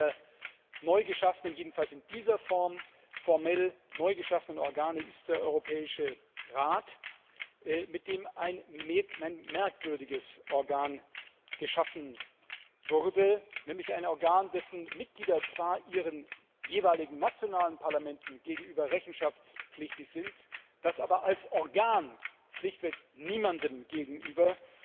Eines der jedenfalls in dieser Form formell neu geschaffenen Organe ist der Europäische Rat, mit dem ein merkwürdiges Organ geschaffen wurde, nämlich ein Organ, dessen Mitglieder zwar ihren jeweiligen nationalen Parlamenten gegenüber rechenschaftspflichtig sind, das aber als Organ schlichtweg niemandem gegenüber